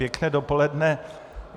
Pěkné dopoledne.